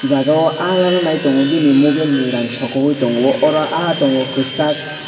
jaga o ah lala nai tongo bini mobile ni rang sokogoi tongo oro ah tongo kosag.